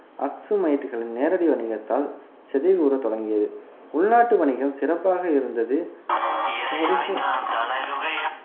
அக்சுமைட்டுகளின் நேரடி வணிகத்தால் சிதைவுற தொடங்கியது உள்நாட்டு வணிகம் சிறப்பாக இருந்தது